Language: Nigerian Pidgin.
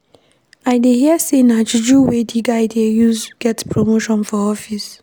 I dey hear sey na juju wey di guy dey use get promotion for office.